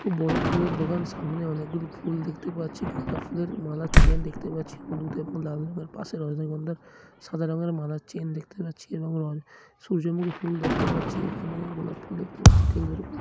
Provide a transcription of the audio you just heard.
এটি খুব বড়ো ফুলের দোকান। সামনে অনেকগুলি ফুল দেখতে পাচ্ছি। গাঁদা ফুলের মালার চেন দেখতে পাচ্ছি হলুদ এবং লাল রঙের পাশে রজনীগন্ধা সাদা রঙের মালার চেন দেখতে পাচ্ছি এবং সূর্যমুখী ফুল দেখতে পাচ্ছি। এখানে গোলাপ ফুল দেখতে পাচ্ছি টেবিল এর ওপর--